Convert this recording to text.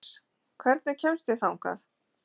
Sigurhans, hvernig kemst ég þangað?